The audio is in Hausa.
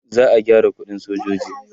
za'a gyara ƙuɗin sojoji